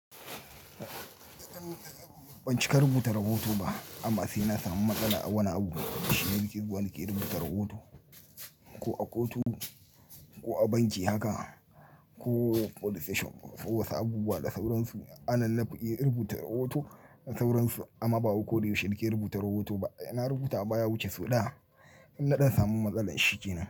Ban cika rubuta rahoton ba amma sai na samu matsala a wani abu, shi nake zuwa nike rubuta rahoto. Ko a kotu ko a banki haka ko police station, ko sabuwa da sauransu anan nafiye rubuta rahoto da sauransu amma bawai ko da yaushe nake rubuta rahoto ba. Ina rubuta baya wuce sau ɗaya in naɗan samu matsalar shi kenan.